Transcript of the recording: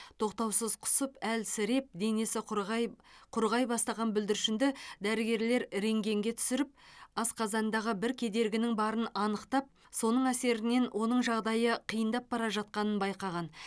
тоқтаусыз құсып әлсіреп денесі құрғай құрғай бастаған бүлдіршінді дәрігерлер рентгенге түсіріп асқазанындағы бір кедергінің барын анықтап соның әсерінен оның жағдайы қиындап бара жатқанын байқаған